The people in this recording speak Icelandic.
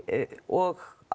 og